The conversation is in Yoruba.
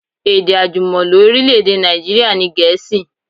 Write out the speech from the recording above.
Èdè àjùmọ̀lo orílẹ̀-èdè Nàìjíríà ni Gẹ̀ẹ́sì